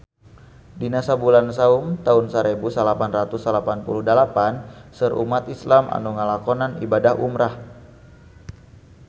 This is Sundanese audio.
Dina bulan Saum taun sarebu salapan ratus salapan puluh dalapan seueur umat islam nu ngalakonan ibadah umrah